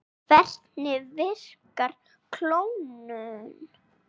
Hvernig virkar klónun?